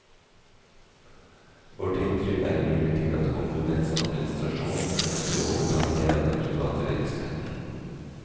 Vårt inntrykk er imidlertid at kommunens administrasjon ønsker å overta mer av den private virksomheten.